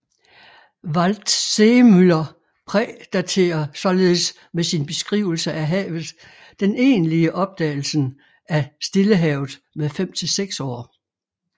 Waldseemüller prædaterer således med sin beskrivelse af havet den egentlige opdagelsen af Stillehavet med fem til seks år